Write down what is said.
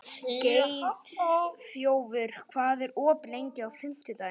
Geirþjófur, hvað er opið lengi á fimmtudaginn?